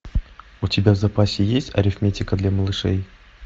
у тебя в запасе есть арифметика для малышей